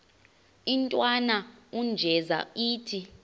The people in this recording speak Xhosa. intwana unjeza ithi